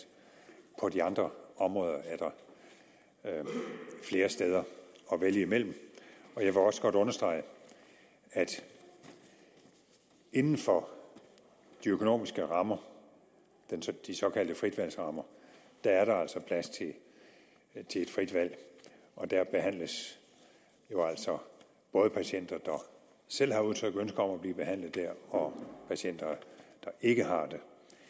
på de andre områder er der flere steder at vælge imellem jeg vil også godt understrege at inden for de økonomiske rammer de såkaldte fritvalgsrammer er der altså plads til et frit valg og der behandles jo altså både patienter der selv har udtrykt ønske om at blive behandlet der og patienter der ikke har det